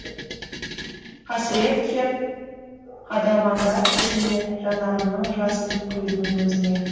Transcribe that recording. қасірет кеп қадалғанда көзіме жанарымның жасын құйдым өзіңе